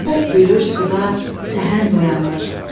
Şəfəq gülür suda, səhənd oyanır.